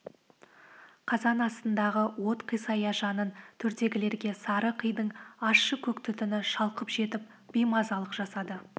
қазан астындағы от қисая жанын төрдегілерге сары қидың ащы көк түтіні шалқып жетіп беймазалық жасады